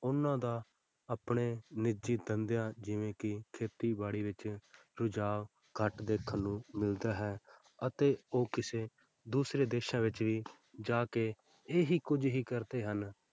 ਉਹਨਾਂ ਦਾ ਆਪਣੇ ਨਿੱਜੀ ਧੰਦਿਆਂ ਜਿਵੇਂ ਕਿ ਖੇਤੀਬਾੜੀ ਵਿੱਚ ਰੁਝਾਵ ਘੱਟ ਦੇਖਣ ਨੂੰ ਮਿਲਦਾ ਹੈ ਅਤੇ ਉਹ ਕਿਸੇ ਦੂਸਰੇ ਦੇਸਾਂ ਵਿੱਚ ਵੀ ਜਾ ਕੇ ਇਹ ਹੀ ਕੁੱਝ ਹੀ ਕਰਦੇ ਹਨ।